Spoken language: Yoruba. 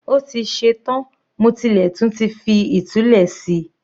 Ó ti ṣe tán, mo tilẹ̀ tún ti fi ìtulẹ̀ si